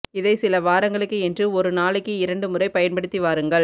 இதை சில வாரங்களுக்கு என்று ஒரு நாளைக்கு இரண்டு முறை பயன்படுத்தி வாருங்கள்